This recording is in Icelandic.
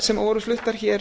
sem voru fluttar hér